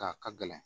A ka gɛlɛn